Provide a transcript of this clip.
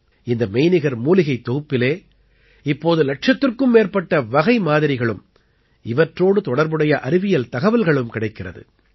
இந்த மெய்நிகர் மூலிகைத் தொகுப்பிலே இப்போது இலட்சத்திற்கும் மேற்பட்ட வகைமாதிரிகளும் இவற்றோடு தொடர்புடைய அறிவியல் தகவல்களும் கிடைக்கிறது